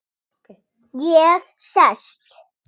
Ég sest.